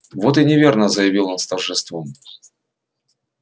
вот и неверно заявил он с торжеством